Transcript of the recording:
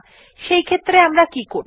সেইক্ষেত্রে আমরা কি করব 160